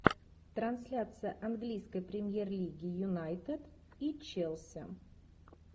трансляция английской премьер лиги юнайтед и челси